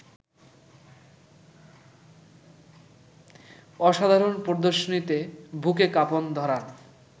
অসাধারণ প্রদর্শনীতে বুকে কাঁপন ধরান